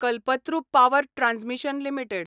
Kalpataru power transmission limited